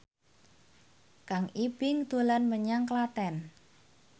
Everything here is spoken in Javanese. Kang Ibing dolan menyang Klaten